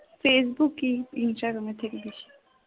ফেসবুকে user অনেক বেশি